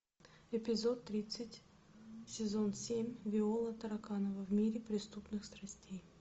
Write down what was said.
эпизод тридцать сезон семь виола тараканова в мире преступных страстей